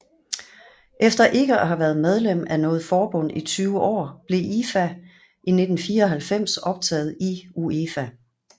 Efter ikke at have været medlem af noget forbund i 20 år blev IFA i 1994 optaget i UEFA